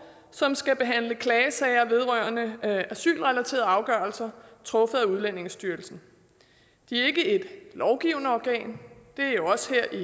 som skal behandle klagesager vedrørende asylrelaterede afgørelser truffet af udlændingestyrelsen det er ikke et lovgivende organ det er jo os her i